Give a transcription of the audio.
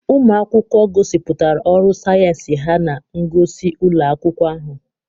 Ụmụ akwụkwọ gosipụtara ọrụ sayensị ha na ngosi ụlọ akwụkwọ ahụ.